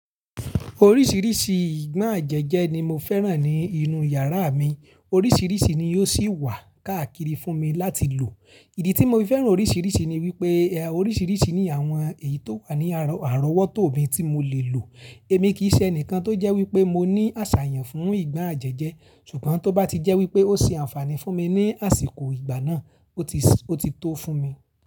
Oríṣìíríṣìí ìgbon àjẹjẹ ni mo fẹ́ràn ní inú yàrá mi, oríṣìíríṣìí ni yóò sì wà káàkiri fún mi láti lò. Ìdí tí mo fi fẹ́ràn oríṣìíríṣìí ni wípé oríṣìíríṣìí ni àwọn èyí tó wà ní àrọ̀wọ́tò mi tí mo lè lò. Èmi kì í ṣe ẹnìkan tó jẹ́ wípé mo ní àṣàyàn fún ìgbon àjẹjẹ, ṣùgbọ́n tó bá ti jẹ́ wípé ó ṣe àǹfààní fún mi ní àsìkò ìgbà náà, ó ti tó fún mi.